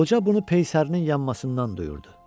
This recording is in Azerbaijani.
Qoca bunu peysərinin yanmasından duyurdu.